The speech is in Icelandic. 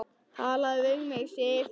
TALAÐU VIÐ MIG, SIF!